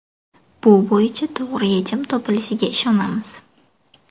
Bu bo‘yicha to‘g‘ri yechim topilishiga ishonamiz.